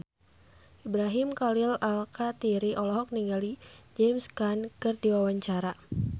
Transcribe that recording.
Ibrahim Khalil Alkatiri olohok ningali James Caan keur diwawancara